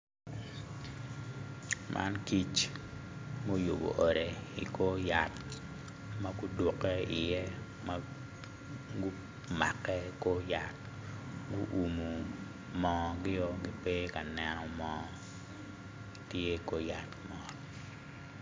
man kic muyubo ode i kor ot ma gudukke iye ma gumakke i kor yat gu umo moo gio ki pe ka neno moo tye i kor yat mot